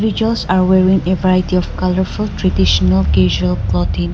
Teachers are wearing a variety of colourful traditional casual clothing.